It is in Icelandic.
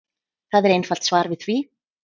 Það er einfalt svar við því.